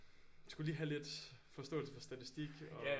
Skulle lige have lidt forståelse for statistik og